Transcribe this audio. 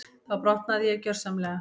Þá brotnaði ég gjörsamlega.